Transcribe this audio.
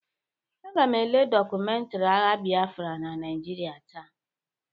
Aga m ele dọkumentiri agha Bịafra na Naịjịrịa taa.